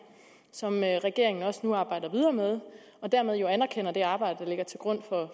som regeringen nu også arbejder videre med og dermed jo anerkender det arbejde der ligger til grund for